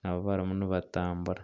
nabo barimu nibatambura.